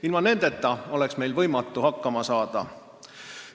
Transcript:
Ilma nendeta oleks võimatu hakkama saada.